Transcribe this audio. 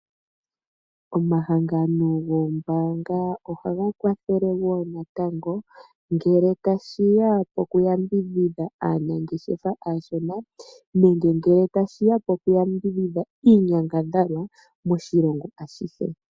Omahangano goombaanga ohaga kwathele wo natango ngele tashi ya poku yambidhidha aanangeshefa aashona nenge ngele tashi ya poku yambidhidha iinyangadhalwa moshilongo ashihe.